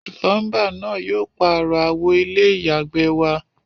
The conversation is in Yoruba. Plumber náà yio pààro àwo ilé ìyàgbẹ́ wa